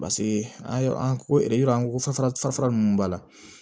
Paseke an ye an ko yɔrɔ an ko fɛn fara fara ninnu b'a la